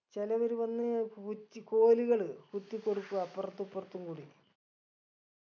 ചിലവര് വന്ന് കുറ്റി കോലുകൾ കുത്തിക്കൊടുക്കും അപ്പർത്തു ഇപ്പർത്തും കൂടി